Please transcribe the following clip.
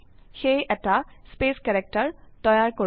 সেয়ে এটা space character তৈয়াৰ কৰো